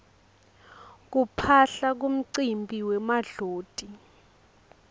kuphaphla kumcimbi wemadloti